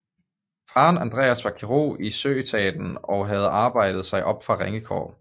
Faren Andreas var kirurg i søetaten og havde arbejdet sig op fra ringe kår